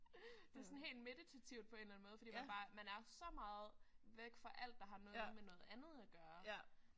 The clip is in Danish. Det sådan helt meditativt på en eller anden måde fordi man bare man er så langt væk fra alt der har noget med noget andet at gøre